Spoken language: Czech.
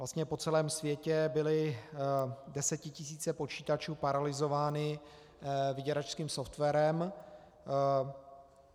Vlastně po celém světě byly desetitisíce počítačů paralyzovány vyděračským softwarem.